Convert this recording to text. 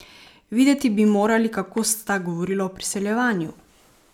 Videti bi morali, kako sta govorila o priseljevanju!